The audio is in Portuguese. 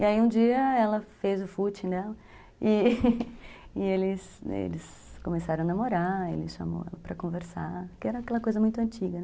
E aí um dia ela fez o footing dela e e eles eles começaram a namorar, ele chamou ela para conversar, que era aquela coisa muito antiga.